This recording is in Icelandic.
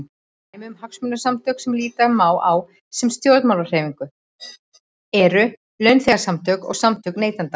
Dæmi um hagsmunasamtök sem líta má á sem stjórnmálahreyfingar eru launþegasamtök og samtök neytenda.